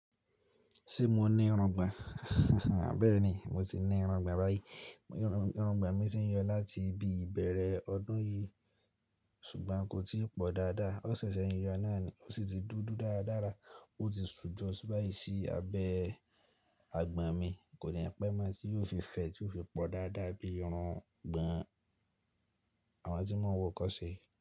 Ṣé mo ní irungbọ̀n? Bẹ́ẹ̀ni, mo ti ní irungbọ̀n bayií. Irungbọ̀n mi ti ń yọ láti bí i bẹ̀rẹ̀ ọdún yìí ṣùgbọ́n kò tí pọ̀ dáadáa. Ó ṣẹ̀ṣẹ̀ ń yọ náà ni, ó sì ti dúdú dáradára ó ti sù jọ ṣúbáyìí sí abẹ́ àgbọ̀n mi. Kò ní pẹ́ má tí yóò fi fẹ́ tí yóò fi pọ̀ dáadáa bí irungbọ̀n àwọn tí wọ́n ń wọ ọkọ̀ ṣe.